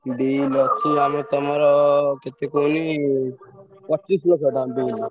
Bill ଅଛି ତମର ପଚିଶ ଲକ୍ଷ ଟଙ୍କା bill।